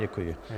Děkuji.